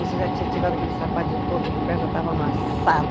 Você já tinha tirado aquele sapato de ponta que o pé já estava amassado.